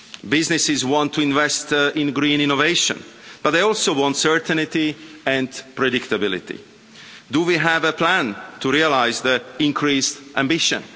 Businesses want to invest in green innovation, but they also want certainty and predictability. Do we have a plan to realise the increased ambition?